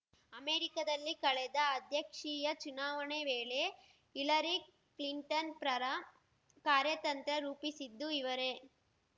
ಅಮೆರಿಕದಲ್ಲಿ ಕಳೆದ ಅಧ್ಯಕ್ಷೀಯ ಚುನಾವಣೆ ವೇಳೆ ಹಿಲರಿ ಕ್ಲಿಂಟನ್‌ ಪ್ರರ ಕಾರ್ಯತಂತ್ರ ರೂಪಿಸಿದ್ದು ಇವರೇ